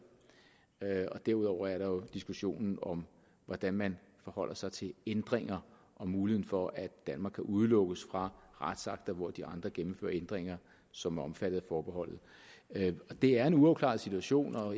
derudover er der jo diskussionen om hvordan man forholder sig til ændringer og muligheden for at danmark kan udelukkes fra retsakter hvor de andre gennemfører ændringer som er omfattet af forbeholdet det er en uafklaret situation og